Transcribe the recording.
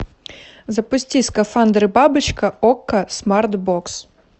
запусти скафандр и бабочка окко смарт бокс